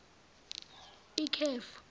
ikhefu